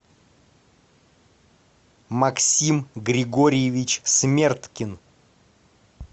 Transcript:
максим григорьевич смерткин